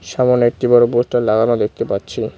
সামোনে একটি বড় পোস্টার লাগানো দেখতে পাচ্ছি।